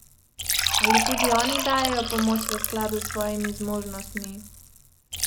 Ali tudi oni dajejo pomoč v skladu s svojimi zmožnostmi?